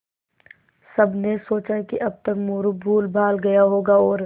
सबने सोचा कि अब तक मोरू भूलभाल गया होगा और